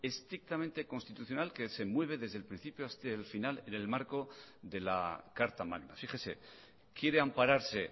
estrictamente constitucional que se mueve desde el principio hasta el final en el marco de la carta magna fíjese quiere ampararse